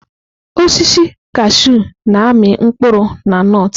Osisi kashụ na-amị mkpụrụ na nọt.